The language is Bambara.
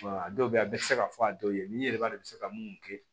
a dɔw bɛ yen a bɛɛ tɛ se ka fɔ a dɔw ye min ye i yɛrɛ b'a dɔn i bɛ se ka mun kɛ